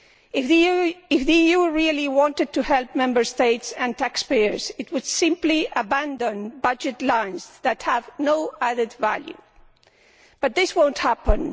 If the EU really wanted to help Member States and taxpayers, it would simply abandon budget lines that have no added value but this will not happen.